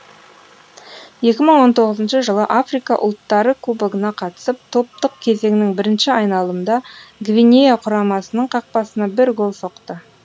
екі мың он тоғызыншы жылы африка ұлттары кубогына қатысып топтық кезеңнің бірінші айналымында гвинея құрамасының қақпасына бір гол соқты